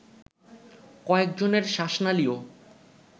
কয়েকজনের শ্বাসনালীও